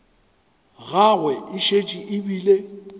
gagwe e šetše e bile